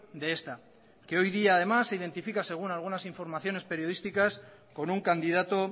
de esta que hoy día además se identifica según algunas informaciones periodísticas con un candidato